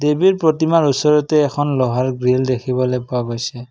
দেৱীৰ প্ৰতিমাৰ ওচৰতেই এখন লোহাৰ গ্ৰিল দেখিবলৈ পোৱা গৈছে।